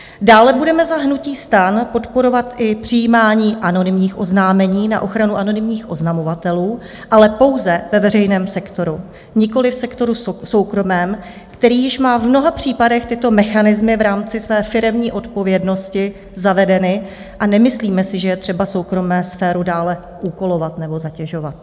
Dále budeme za hnutí STAN podporovat i přijímání anonymních oznámení na ochranu anonymních oznamovatelů, ale pouze ve veřejném sektoru, nikoliv v sektoru soukromém, který již má v mnoha případech tyto mechanismy v rámci své firemní odpovědnosti zavedeny, a nemyslíme si, že je třeba soukromou sféru dále úkolovat nebo zatěžovat.